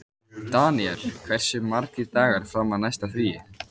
Daníval, hversu margir dagar fram að næsta fríi?